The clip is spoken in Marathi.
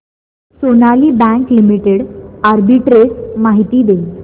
सोनाली बँक लिमिटेड आर्बिट्रेज माहिती दे